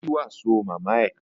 Ó jí wàsó màmá ẹ